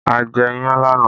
A jẹ iyán lánàá